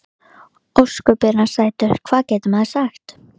Sigríður svolgraði í sig vökvann af áfergju.